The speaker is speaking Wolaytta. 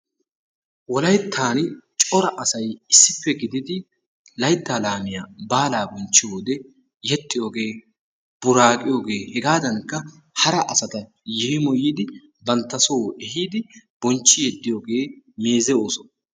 Wolayttan cora asay issippe gididi layttaa laamiya baala bonchchiyo wode yexxiyooge, buraqqiyooge hegadankka hara asata yeemoyiddi bantta soo ehidi bonchchi yeddiyooge meeze ooso.